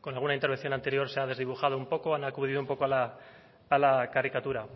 con alguna intervención anterior se ha desdibujado un poco han acudido un poco a la caricatura